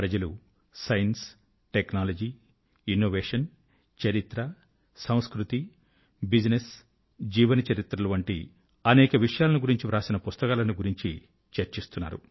ప్రజలు science technology innovation చరిత్ర సంస్కృతి బిజినెస్ జీవన చరిత్రలు వంటి అనేక విషయాల ను గురించి వ్రాసిన పుస్తకాల ను గురించి చర్చిస్తున్నారు